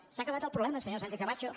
s’ha acabat el problema senyora sánchez camacho